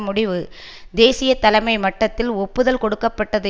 முடிவு தேசிய தலைமை மட்டத்தில் ஒப்புதல் கொடுக்க பட்டது